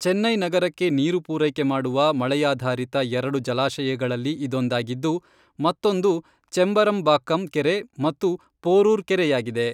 ಚೆನ್ನೈ ನಗರಕ್ಕೆ ನೀರು ಪೂರೈಕೆ ಮಾಡುವ ಮಳೆಯಾಧಾರಿತ ಎರಡು ಜಲಾಶಯಗಳಲ್ಲಿ ಇದೊಂದಾಗಿದ್ದು, ಮತ್ತೊಂದು ಚೆಂಬರಂಬಾಕ್ಕಂ ಕೆರೆ ಮತ್ತು ಪೋರೂರ್ ಕೆರೆಯಾಗಿದೆ.